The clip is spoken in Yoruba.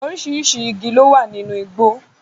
Oríṣiríṣi igi lowa nínú igbó